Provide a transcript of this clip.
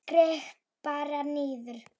Skrepp bara niður.